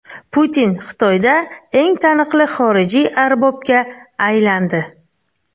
Putin Xitoyda eng taniqli xorijiy arbobga aylandi.